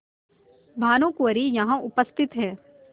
भानुकुँवरि यहाँ उपस्थित हैं